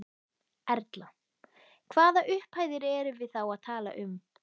Erla: Hvaða upphæðir erum við þá að tala um?